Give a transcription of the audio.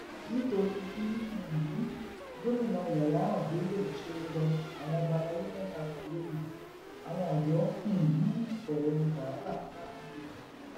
nítorí bí um gomina yayaran bello ṣe rọ àwọn ọba alayé mẹta kan lóye àwọn odò um bẹrẹ wàhálà láàrin ìlú